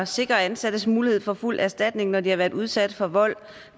sikre ansattes mulighed for fuld erstatning når de har været udsat for vold